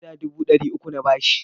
Naira dubu ɗari uku na ba shi.